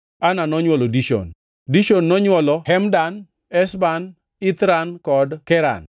Ana nonywolo Dishon. Dishon nonywolo Hemdan, Eshban, Ithran kod Keran.